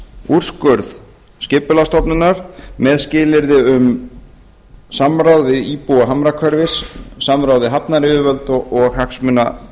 úrskurð skipulagsstofnunar með skilyrði um samráð við íbúa hamrahverfis samráði við hafnaryfirvöld og hagsmunaaðila